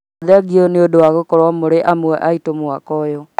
Thengio nĩ ũndũ wa gũkorwo mũrĩ amwe aitũ mwaka ũyũ